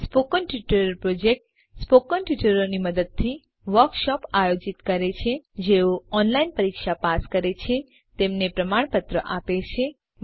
spoken tutorial project spoken ટ્યુટોરીયલોની મદદથી workshop આયોજિત કરે છે જેઓ ઓનલાઇન પરીક્ષા પાસ કરે છે તેમને પ્રમાણપત્ર આપે છે